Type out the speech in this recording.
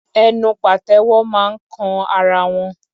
Ẹnu pàtẹ́wọ́ máa ń kan ara wọn.